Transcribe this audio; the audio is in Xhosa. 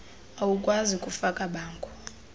awukwazi kufaka bango